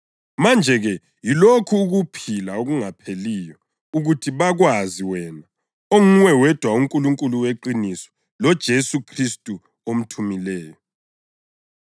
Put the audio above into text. Manje-ke yilokhu ukuphila okungapheliyo: ukuthi bakwazi wena, onguwe wedwa uNkulunkulu weqiniso, loJesu Khristu omthumileyo.